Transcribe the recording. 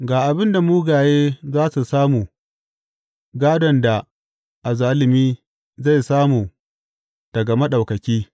Ga abin da mugaye za su samu gādon da azzalumi zai samu daga Maɗaukaki.